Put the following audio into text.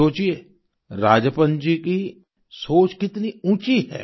सोचिये राजप्पन जी की सोच कितनी ऊँची है